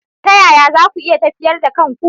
Ta yaya za ku yi tafyar da kanku.